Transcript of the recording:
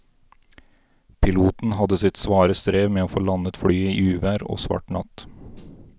Piloten hadde sitt svare strev med å få landet flyet i uvær og svart natt.